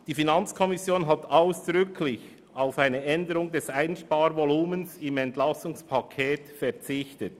Die FiKo hat ausdrücklich auf eine Änderung des Einsparvolumens im EP verzichtet.